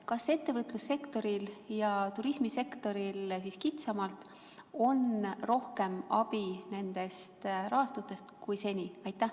Kas ettevõtlussektoril ja kitsamalt turismisektoril on nendest rahastutest rohkem abi kui seni?